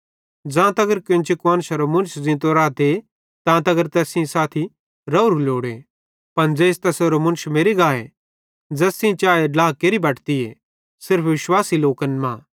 ज़ां तगर कोन्ची कुआन्शरो मुन्श ज़ींतो रहते तां तगर तैस सेइं साथी रावरू लोड़े पन ज़ेइस तैसेरो मुन्श मेरि गाए ज़ैस सेइं चाए ड्ला केरि बटतीए सिर्फ विश्वासी लोकन मां